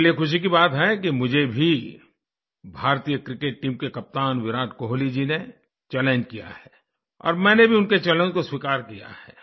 मेरे लिए खुशी की बात है कि मुझे भी भारतीय क्रिकेट टीम के कप्तान विराट कोहली जी ने चैलेंज किया है और मैंने भी उनके चैलेंज को स्वीकार किया है